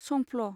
संफ्ल